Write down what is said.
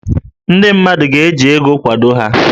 Ndị mmadụ ga-eji ego kwado ha